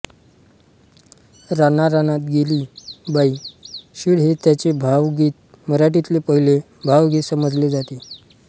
रानारानात गेली बाई शीळ हे त्यांचे भावगीत मराठीतले पहिले भावगीत समजले जाते